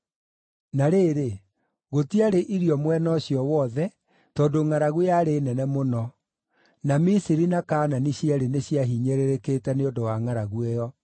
Na rĩrĩ, gũtiarĩ irio mwena ũcio wothe, tondũ ngʼaragu yarĩ nene mũno; na Misiri na Kaanani cierĩ nĩ ciahinyĩrĩrĩkĩte nĩ ũndũ wa ngʼaragu ĩyo.